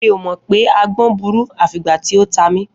Mi ò mọ̀ pé agbọ́n burú, à fi ìgbà tí ó ta mí.